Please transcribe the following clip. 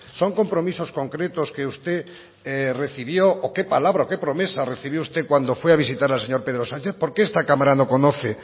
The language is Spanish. son compromisos concretos que usted recibió o qué palabra o qué promesa recibió usted cuando fue a visitar al señor pedro sánchez por qué esta cámara no conoce